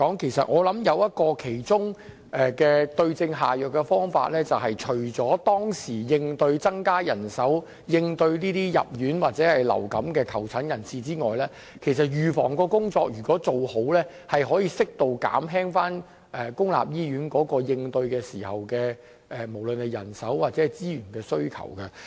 老實說，我想其中一個對症下藥的方法，就是除了及時增加人手，以應對這些因流感入院或求診人士外，還要做好預防工作；因為如果預防工作做得好的話，可以在流感高峰期間，適度減輕對於公立醫院人手或資源的需求。